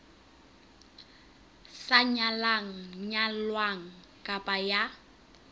sa nyalang nyalwang kapa ya